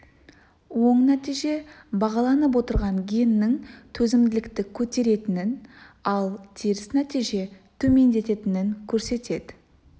оң нәтиже бағаланып отырған геннің төзімділікті көтеретінін ал теріс нәтиже төмендететінін көрсетеді